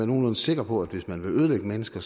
nogenlunde sikker på at hvis man vil ødelægge mennesker